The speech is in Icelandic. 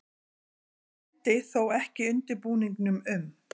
Hann kenndi þó ekki undirbúningnum um